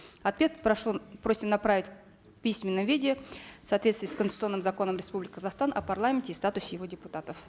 ответ прошу просим направить в письменном виде в соответствии с конституционным законом республики казахстан о парламенте и статусе его депутатов